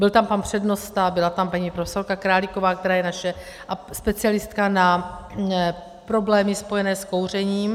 Byl tam pan přednosta, byla tam paní profesorka Králíková, která je naše specialistka na problémy spojené s kouřením.